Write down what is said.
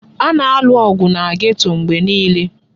A na-alụ ọgụ na geto mgbe niile.